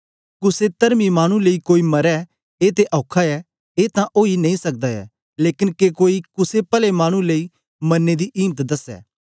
कुसे तरमी मानु लेई कोई मरे ए ते औखा ए ए तां ओई नेई सकदा ऐ लेकन के कोई कुसे पले मानु लेई मरने दी इम्त दसै